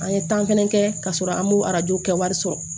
An ye fɛnɛ kɛ ka sɔrɔ an m'o kɛ wari sɔrɔ